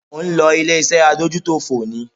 Ò ń lọ ilé-iṣẹ́ Adójútòfò ni?